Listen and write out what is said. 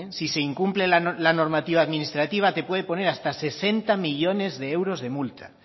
si se incumple la normativa administrativa te puede poner hasta sesenta millónes de euros de multa